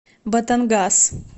батангас